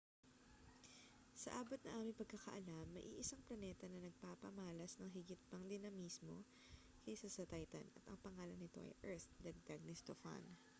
sa abot ng aming pagkakaalam may iisang planeta na nagpapamalas ng higit pang dinamismo kaysa sa titan at ang pangalan nito ay earth dagdag ni stofan